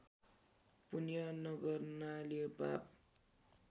पुण्य नगर्नाले पाप